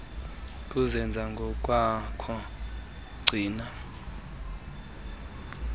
kuzenza ngokwakho gcina